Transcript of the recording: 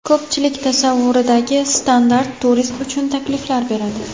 Ko‘pchilik tasavvuridagi standart turist uchun takliflar beradi.